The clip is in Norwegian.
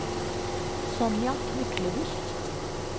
Sonja Myklebust